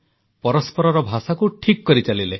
ପରସ୍ପରର ଭାଷାକୁ ଠିକ୍ କରିଚାଲିଲେ